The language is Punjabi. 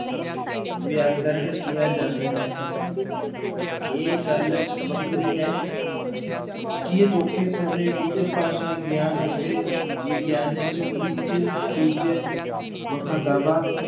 ਵਿਆਕਰਨ ਕਿਹਾ ਜਾਂਦਾ ਹੈ ਇਹ ਗੱਲ ਵੱਖਰੀ ਹੈ ਕਿ ਅਜੋਕੇ ਸਮੇਂ ਵਿੱਚ ਭਾਸ਼ਾ ਗਿਆਨ ਅਤੇ ਵਿਗਿਆਨਕ ਵਿੱਚ ਕੁੱਝ ਵਖਰਾਵਾ